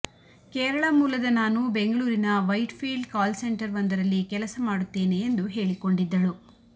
ಕೇರಳ ಮೂಲದ ನಾನು ಬೆಂಗಳೂರಿನ ವೈಟ್ ಫೀಲ್ಡ್ ಕಾಲ್ ಸೆಂಟರ್ ಒಂದರಲ್ಲಿ ಕೆಲಸ ಮಾಡುತ್ತೇನೆ ಎಂದು ಹೇಳಿಕೊಂಡಿದ್ದಳು